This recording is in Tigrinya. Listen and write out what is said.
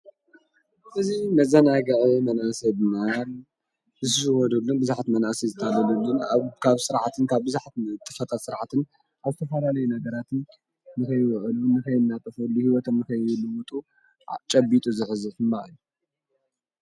እዙይ መዛናይጋዒ መናሰይ ድማያል ብዝሽወዱሉን ብዙኃት መናእሲ ዝተለሉሉን ኣብካብ ሥርዓትን ካብ ብዙኃት እጥፈጣት ሥርዓትን ኣስተፋረለይ ነገራትን ምኸይወዕሉ ንኸይናጠፈሉ ሕይወቶም ምከይዩሉሙጡ ጨቢጡ ዝኅዝፍምበኣል እዩ።